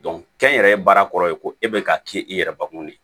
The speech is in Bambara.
kɛnyɛrɛye baara kɔrɔ ye ko e bɛ ka k'i yɛrɛ baganw de ye